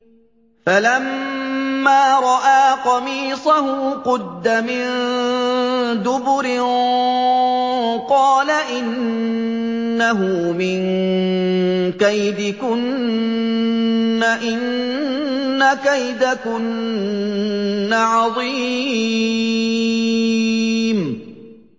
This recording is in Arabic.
فَلَمَّا رَأَىٰ قَمِيصَهُ قُدَّ مِن دُبُرٍ قَالَ إِنَّهُ مِن كَيْدِكُنَّ ۖ إِنَّ كَيْدَكُنَّ عَظِيمٌ